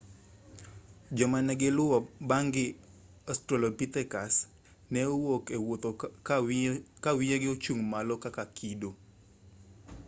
joma negiluwo bang'gi australopithecus neok owuotho kawiye ochung malo kaka kido